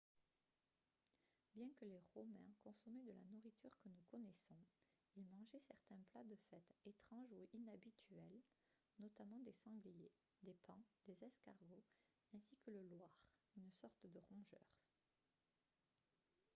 bien que les romains consommaient de la nourriture que nous connaissons ils mangeaient certains plats de fête étranges ou inhabituels notamment des sangliers des paons des escargots ainsi que le loir une sorte de rongeur